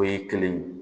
O ye kelen ye